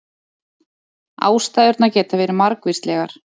Ástæðurnar geta verið margvíslegar